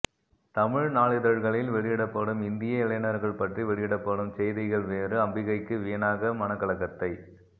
தமிழ் நாளிதழ்களில் வெளியிடப்படும் இந்திய இளைஞர்கள் பற்றி வெளியிடப்படும் செய்திகள் வேறு அம்பிகைக்கு வீணாக மனக்கலக்கத்தை